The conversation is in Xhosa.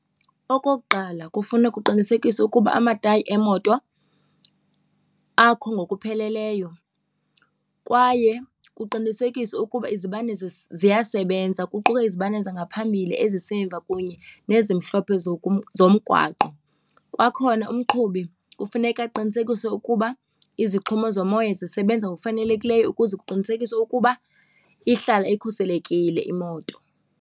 Okokuqala kufuneka kuqinisekiswe ukuba amatayi emoto akho ngokupheleleyo kwaye kuqinisekiswe ukuba izibane ziyasebenza, kuquka izibane zangaphambili, ezisemva kunye nezimhlophe zomgwaqo. Kwakhona umqhubi kufuneka uqinisekise ukuba izixhomo zomoya zisebenza ngokufanelekileyo ukuze kuqinisekiswe ukuba ihlala ikhuselekile imoto.